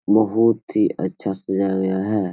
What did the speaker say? बहुत ही अच्छा सिजाया गया है।